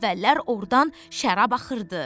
Əvvəllər ordan şərab axırdı.